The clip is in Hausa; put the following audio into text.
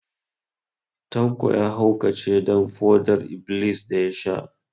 Tanko ya haukace don foɗar-iblis da ya sha